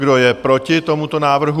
Kdo je proti tomuto návrhu?